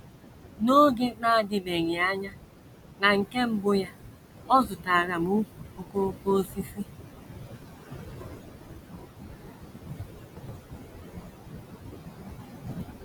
“ N’oge na - adịbeghị anya, na nke mbụ ya, ọ zụtaara m ùkwù okooko osisi ”